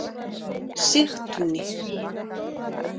Sigtúni